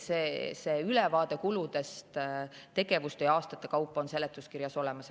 See ülevaade kuludest tegevuste ja aastate kaupa on seletuskirjas olemas.